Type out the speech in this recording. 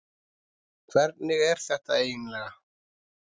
Hvernig er þetta eiginlega?